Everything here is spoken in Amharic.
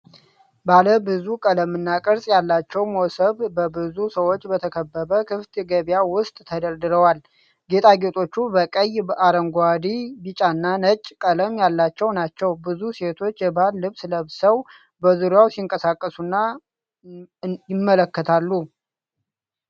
ባለ ብዙ ቀለምና ቅርጽ ያላቸው ሞሰብ በብዙ ሰዎች በተከበበ ክፍት ገበያ ውስጥ ተደርድረዋል። ጌጣጌጦቹ በቀይ፣ አረንጓዴ፣ ቢጫና ነጭ ቀለም ያላቸው ናቸው። ብዙ ሴቶች የባህል ልብስ ለብሰው በዙሪያው ሲንቀሳቀሱና ይመለከታሉ።